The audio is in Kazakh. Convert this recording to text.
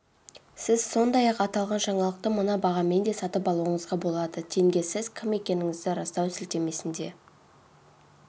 сіз сондай-ақ аталған жаңалықты мына бағамен де сатып алуыңызға болады тенге сіз кім екендігіңізді растау сілтемесіне